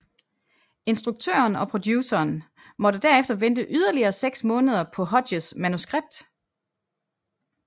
Instruktøren og produceren måtte derefter vente yderligere seks måneder på Hodges manuskript